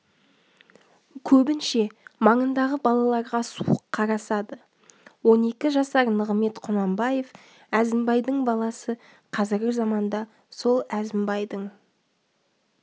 көбінше маңындағы балаларға суық қарасады он екі жасар нығымет құнанбаев әзімбайдың баласы қазіргі заманда сол әзімбайдың